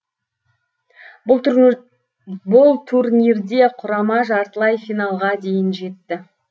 бұл турнирде құрама жартылай финалға дейін жетті